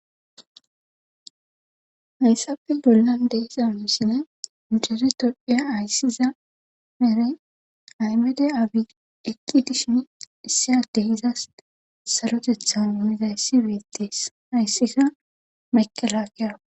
hayssape bollan de'iza misine incere todhdhiya ayssiza mere aymede abi eqki dishin issiadehizas salotethan unizayssi beettees ayssika makelaakeaa